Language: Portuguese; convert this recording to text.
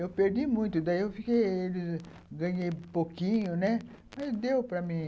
Eu perdi muito, daí eu fiquei, ganhei pouquinho, né, mas deu para mim.